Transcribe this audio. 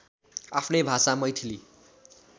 आफ्नै भाषा मैथिली